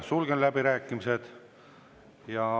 Sulgen läbirääkimised.